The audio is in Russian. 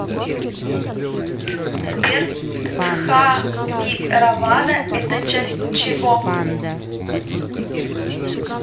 сбер стхавиравада это часть чего